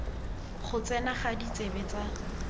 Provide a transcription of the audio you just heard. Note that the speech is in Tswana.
go tsena ga ditsebe tsa